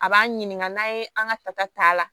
A b'an ɲininka n'a ye an ka ta'a la